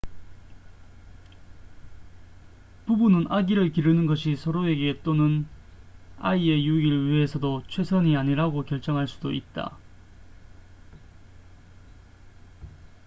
부부는 아기를 기르는 것이 서로에게 또는 아이의 유익을 위해서도 최선이 아니라고 결정할 수도 있다